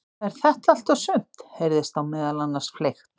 Er þetta allt og sumt? heyrðist þá meðal annars fleygt.